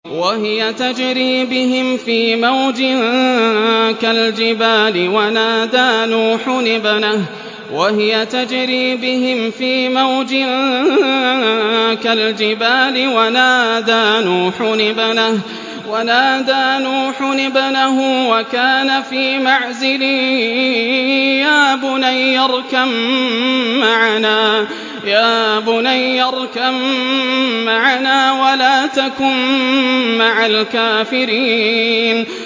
وَهِيَ تَجْرِي بِهِمْ فِي مَوْجٍ كَالْجِبَالِ وَنَادَىٰ نُوحٌ ابْنَهُ وَكَانَ فِي مَعْزِلٍ يَا بُنَيَّ ارْكَب مَّعَنَا وَلَا تَكُن مَّعَ الْكَافِرِينَ